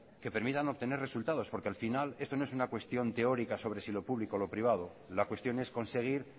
que permitan obtener resultados porque al final esto no es una cuestión teórica sobre si lo público o lo privado la cuestión es conseguir